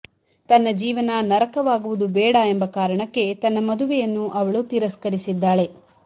ತನ್ನ ಜೀವನ ನರಕವಾಗುವುದು ಬೇಡ ಎಂಬಕಾರಣಕ್ಕೆ ತನ್ನ ಮದುವೆಯನ್ನು ಅವಳು ತಿರಸ್ಕರಿಸಿದ್ದಾಳೆ